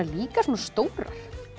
líka svona stórar